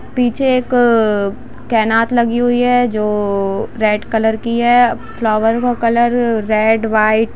पीछे एक केनात लगी हुई हैं जो रेड कलर की हैं। फ्लावरों का कलर रेड व्हाइट --